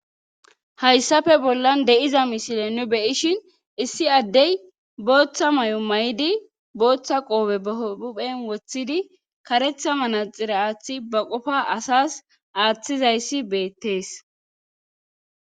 hayssafe bollan de7iza misile nu beyishin issi addey booththa may7o may7idi booththa qoobe bahouphen woththidi karetha manaxira aaththi ba qofa asas aaththizayssi beettees